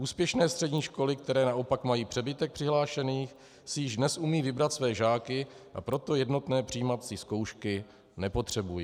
Úspěšné střední školy, které naopak mají přebytek přihlášených, si již dnes umějí vybrat své žáky, a proto jednotné přijímací zkoušky nepotřebují.